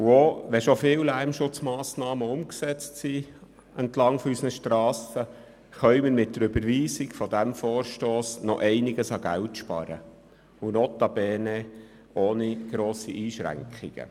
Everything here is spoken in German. Auch wenn schon viele Lärmschutzmassnahmen entlang unserer Strassen umgesetzt sind, können wir mit der Überweisung des Vorstosses einiges an Geld sparen und dies notabene ohne grosse Einschränkungen.